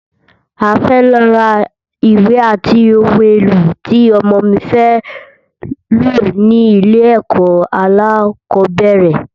A fẹ lọ rà ìwé ati oun èlò ti ọmọ mi fé lò ní ilẹ̀ ẹkọ̀ alákọ̀bẹ́rẹ̀.